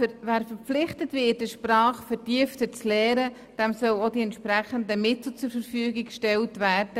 Wer verpflichtet wird, eine Sprache vertieft zu lernen, der soll auch die entsprechenden Mittel erhalten.